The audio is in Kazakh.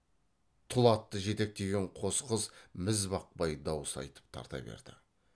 тұл атты жетектеген қос қыз мізбақпай дауыс айтып тарта берді